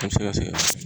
A bɛ se ka se